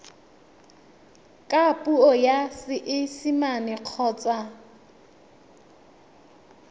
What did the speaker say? ka puo ya seesimane kgotsa